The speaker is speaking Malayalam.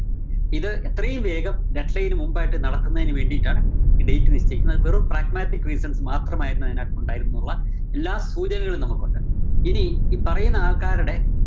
ഇത് എത്രയും വേഗം deadline ന് മുമ്പായിട്ട് നടക്കുന്നതിന് വേണ്ടിട്ടാണ് ഈ date നിശ്ചയിക്കുന്നത്. അത് വെറും pragmatic reasons മാത്രമായിരുന്നു അതിനകത്ത് ഉണ്ടായിരുന്നതുള്ള എല്ലാ സൂചനകളും നമുക്കൊണ്ട്. ഇനി ഈ പറയുന്ന ആള്‍ക്കാരടെ